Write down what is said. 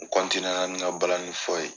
N la ni n ka balani fɔ ye.